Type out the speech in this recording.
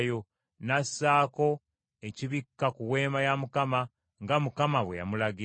n’assaako ekibikka ku Weema ya Mukama , nga Mukama bwe yamulagira.